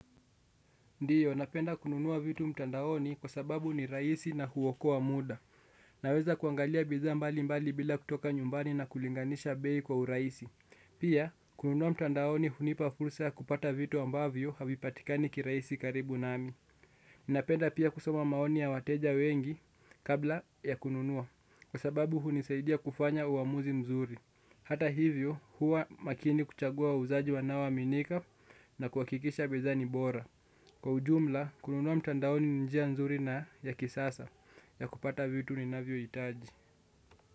Ndiyo, napenda kununua vitu mtandaoni kwa sababu ni rahisi na huokoa muda. Naweza kuangalia bidhaa mbalimbali bila kutoka nyumbani na kulinganisha bei kwa urahisi. Pia, kununua mtandaoni hunipa fursa ya kupata vitu ambavyo havipatikani kirahisi karibu nami. Napenda pia kusoma maoni ya wateja wengi kabla ya kununua kwa sababu hunisaidia kufanya uamuzi mzuri. Hata hivyo, huwa makini kuchagua wauzaji wanao aminika na kuhakikisha bidhaa ni bora. Kwa ujumla, kununua mtandaoni ni njia nzuri na ya kisasa ya kupata vitu ninavyohitaji.